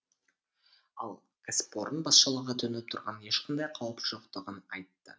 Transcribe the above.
ал кәсіпорын басшылығы төніп тұрған ешқандай қауіп жоқтығын айтты